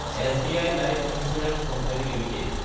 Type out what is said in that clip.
SBI life insurance company Ltd